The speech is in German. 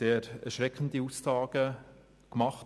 Dort wurden sehr erschreckende Aussagen gemacht.